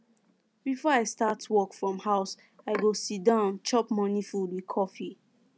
before i start work from house i go siddon chop morning food with coffee